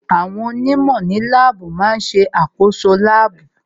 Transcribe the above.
Àwọn onímọ̀ ní láàbù má ń ṣe àkoso láàbù